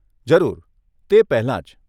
જરૂર, તે પહેલાં જ.